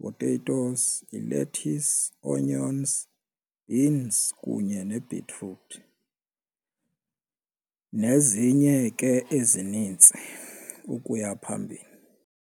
potatoes yi-lettuce, onions beans kunye nebhitruthi nezinye ke ezinintsi ukuya phambili.